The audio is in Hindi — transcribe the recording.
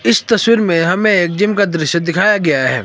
इस तस्वीर में हमें एक जिम का दृश्य दिखाया गया है।